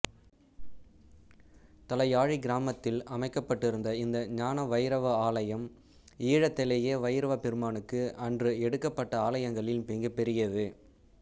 தலையாழிக் கிராமத்தில் அமைக்கப்பட்டிருந்த இந்த ஞானவைரவ ஆலயம் ஈழத்திலேயே வைரவப்பெருமானுக்கு அன்று எடுக்கப்பட்ட ஆலயங்களில் மிகப்பெரியது